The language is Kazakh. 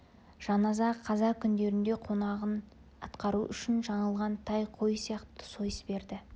жаназа қаза күндерінде қонағын атқару үшін жаңылға тай қой сияқты сойыс берді